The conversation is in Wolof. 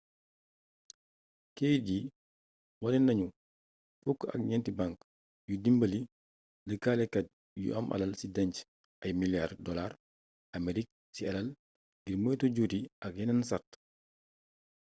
keyit yi wane nañu fukk ak ñenti bank yuy dimbali lëkkalekat yu am alal ci dénc ay milliards dollars aamerig ci alal ngir moytu juuti ak yenen sart